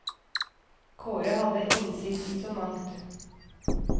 Kåre hadde innsikt i så mangt.